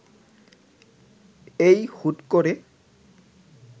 এই হুট করে